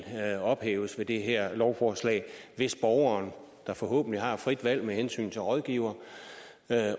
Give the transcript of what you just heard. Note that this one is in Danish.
ophæves ved det her lovforslag hvis borgeren der forhåbentlig har et frit valg med hensyn til rådgivere